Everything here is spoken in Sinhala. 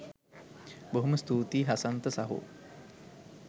බොහොම ස්තූතියි හසන්ත සහෝ